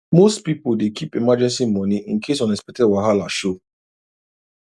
most people dey keep emergency money in case unexpected wahala show